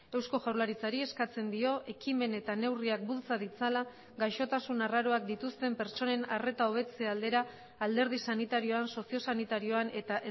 eusko jaurlaritzari eskatzen dio ekimen eta neurriak bultza ditzala gaixotasun arraroak dituzten pertsonen arreta hobetze aldera alderdi sanitarioan sozio sanitarioan eta